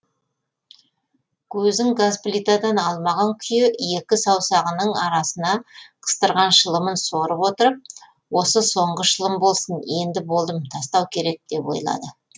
көзін газ плитадан алмаған күйі екі саусағынының арасына қыстырған шылымын сорып отырып осы соңғы шылым болсын енді болдым тастау керек деп ойлады